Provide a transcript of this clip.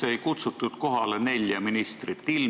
Miks ei kutsutud kohale nelja ministrit?